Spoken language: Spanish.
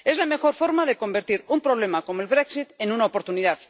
Es la mejor forma de convertir un problema como el brexit en una oportunidad.